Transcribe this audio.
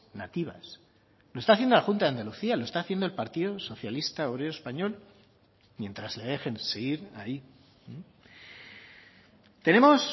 nativas lo está haciendo la junta de andalucía lo está haciendo el partido socialista obrero español mientras le dejen seguir ahí tenemos